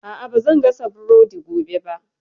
A'a, ba zan gasa burodi gobe ba